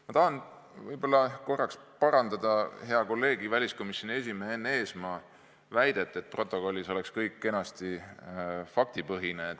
Ma tahan kõigepealt parandada hea kolleegi, väliskomisjoni esimehe Enn Eesmaa väidet – stenogrammis peaks kõik kenasti faktipõhine olema.